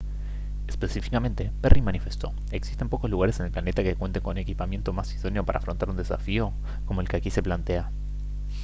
específicamente perry manifestó: «existen pocos lugares en el planeta que cuenten con equipamiento más idóneo para afrontar un desafío como el que aquí se plantea»